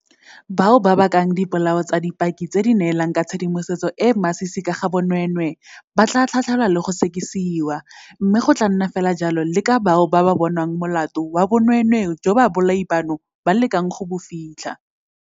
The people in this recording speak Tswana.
Bao ba bakang dipolao tsa dipaki tse di neelang ka tshedimosetso e e masisi ka ga bonweenwee ba tla tlhatlhelwa le go sekisiwa, mme go tla nna fela jalo le ka bao ba bonwang molato wa bonweenwee joo babolai bano ba lekang go bo fitlha.